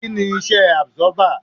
Kí ni Iṣẹ́ àbsọ́bà?